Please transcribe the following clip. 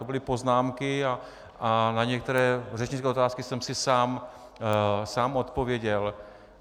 To byly poznámky a na některé řečnické otázky jsem si sám odpověděl.